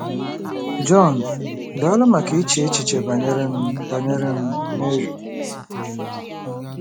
John: Daalụ maka iche echiche banyere m banyere m, Mary.